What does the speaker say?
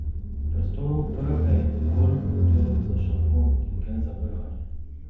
V prostoru prhe je dovolj prostora za šampon in gel za prhanje.